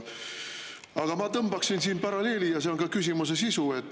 Aga ma tõmbaksin siin paralleeli ja see on ka küsimuse sisu.